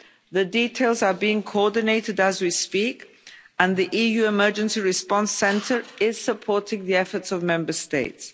The details are being coordinated as we speak and the EU emergency response centre is supporting the efforts of Member States.